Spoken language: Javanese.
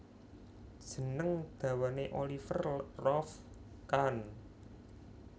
Jeneng dawane Oliver Rolf Kahn